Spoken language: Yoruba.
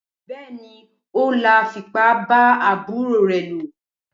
Bẹẹni Ola fipá ba aburo re lo.